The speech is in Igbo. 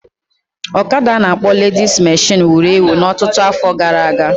ọkada a na-akpọ ledis meshịn wuru ewu na ọtụtụ afọ gara aga